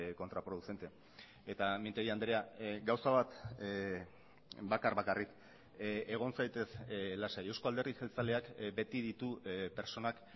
contraproducente eta mintegi andrea gauza bat bakar bakarrik egon zaitez lasai euzko alderdi jeltzaleak beti ditu pertsonak